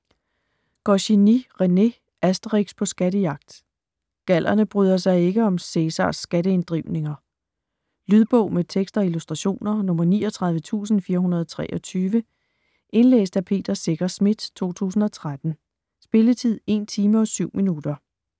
Goscinny, René: Asterix på skattejagt Gallerne bryder sig ikke om Cæsars skatteinddrivninger. Lydbog med tekst og illustrationer 39423 Indlæst af Peter Secher Schmidt, 2013. Spilletid: 1 timer, 7 minutter.